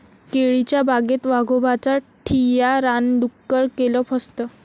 केळीच्या बागेत वाघोबाचा ठिय्या, रानडुक्कर केलं फस्त!